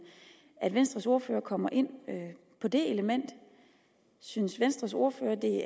at venstres ordfører kommer ind på det element synes venstres ordfører at det